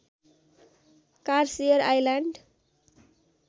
कार्सियर island